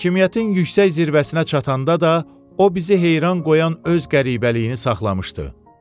Hakimiyyətin yüksək zirvəsinə çatanda da o bizi heyran qoyan öz qəribəliyini saxlamışdı.